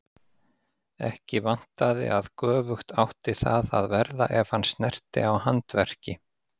Ekki vantaði að göfugt átti það að verða ef hann snerti á handverki.